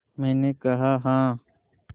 मैंने कहा हाँ